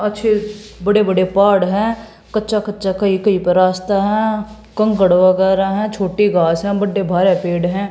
अच्छे बड़े बड़े पहाड़ है कच्चा कच्चा कही कही पे रास्ता है कंकड़ वगैरा है छोटी घास है बढ़े भाया पेड़ है।